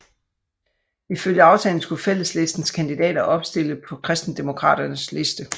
Ifølge aftalen skulle Fælleslistens kandidater opstille på Kristendemokraternes liste